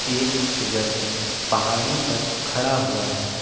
एक व्यक्ति पहाड़ी पर खड़ा हुआ है।